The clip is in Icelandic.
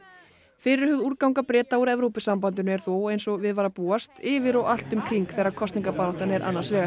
fyrirhuguð Breta úr Evrópusambandinu er þó eins og við var að búast yfir og allt um kring þegar kosningabaráttan er annars vegar